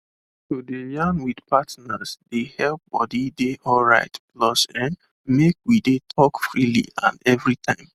to de yarn with partners de help body de alright plus[um]make we de talk freely and everytime